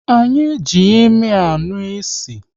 Anyị ji imi anụ ịsị